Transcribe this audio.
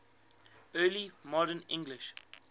early modern english